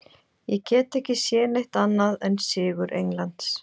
Ég get ekki séð neitt annað en sigur Englands.